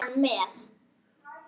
Ekki er hann með?